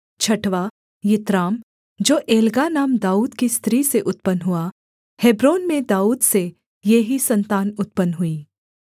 छठवाँ यित्राम जो एग्ला नाम दाऊद की स्त्री से उत्पन्न हुआ हेब्रोन में दाऊद से ये ही सन्तान उत्पन्न हुईं